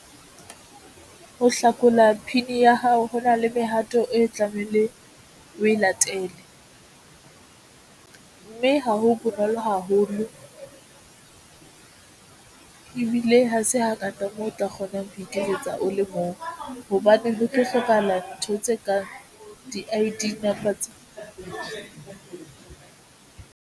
Ho hlakola P_I_N ho na le mehato e tlamehile o e latele, mme ha ho bonolo haholo ebile ha se hangata mo o tla kgonang ho iketsetsa o le mong hobaneng ho tlo hlokahala ntho tse kang di I_D number tsa hao.